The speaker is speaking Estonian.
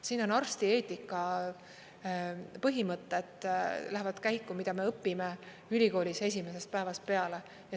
Siin arstieetika põhimõtted lähevad käiku, mida me õpime ülikoolis esimesest päevast peale.